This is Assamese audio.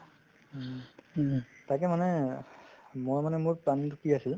তাকে মানে মই মানে মোৰ planning তো কি আছিল